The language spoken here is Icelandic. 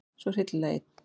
Svo hryllilega einn.